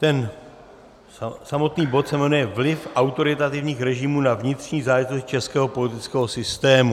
Ten samotný bod se jmenuje vliv autoritativních režimů na vnitřní záležitosti českého politického systému.